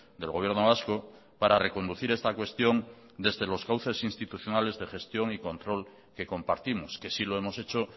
del gobierno vasco para reconducir esta cuestión desde los cauces institucionales de gestión y control que compartimos que sí lo hemos hecho